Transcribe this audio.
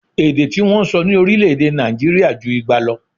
Èdè tí wọ́n ń sọ ní orílè-èdè Nàìjirià ju igba lọ